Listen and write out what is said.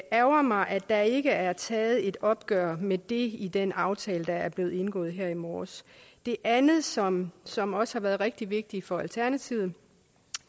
ærgrer mig at der ikke er taget et opgør med det i den aftale der er blevet indgået her i morges det andet som som også har været rigtig vigtigt for alternativet